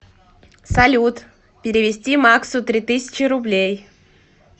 салют перевести максу три тысячи рублей